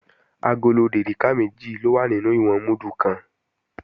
Agolo dèríkà méjì ló wà nínú ìwọ̀n múdù kan